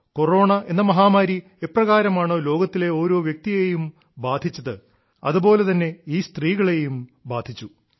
corona എന്ന മഹാമാരി എപ്രകാരമാണോ ലോകത്തിലെ ഓരോ വ്യക്തിയെയും സ്വാധീനിച്ചത് അതുപോലെ തന്നെ ഈ സ്ത്രീകളെയും ബാധിച്ചു